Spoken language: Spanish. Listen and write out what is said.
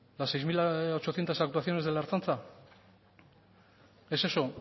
las seis mil ochocientos actuaciones de la ertzaintza es eso